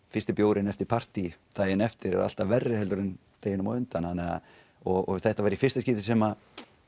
fyrsti bjórinn eftir partý daginn eftir er alltaf verri en deginum á undan þannig að og þetta var í fyrsta skipti sem